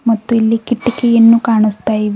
ಮತ್ತು ಇಲ್ಲಿ ಕಿಟಕಿಯನ್ನು ಕಾಣಿಸ್ತ ಇವೆ.